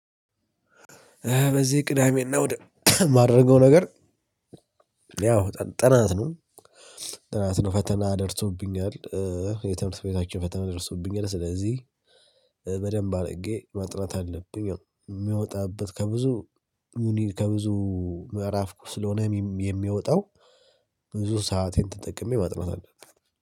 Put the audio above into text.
በዚህ ቅዳሜና ወደ ማድረገው ነገር ያው ጥናት ነው ጥናት ነው ፈተና ደርሶብኛል። የትምህርት ቤታችን ፈተና ደርሶብኛል ስለዚህ በደንብ አድርጌ መጥናት አለብኝ የሚወጣበት ከብዙ ሙኒል ከብዙ ምዕራፍ ኩስ ስለሆነ የሚወጣው ብዙ ሰአቴን ተጠቅሜ ማጥራት አለብኝ።